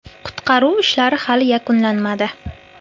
Qutqaruv ishlari hali yakunlanmadi.